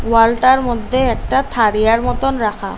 ওয়ালটার মধ্যে একটা থাড়িয়ার মতোন রাখা।